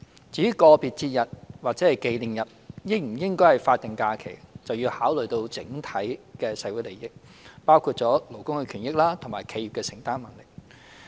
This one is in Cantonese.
至於個別節日或紀念日應否列為法定假日，則要考慮整體的社會利益，包括勞工權益及企業的承擔能力。